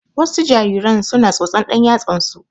Wasu jariran su na tsotsan ɗan yatsan su